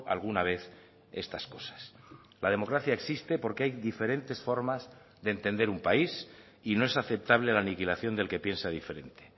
alguna vez estas cosas la democracia existe porque hay diferentes formas de entender un país y no es aceptable la aniquilación del que piensa diferente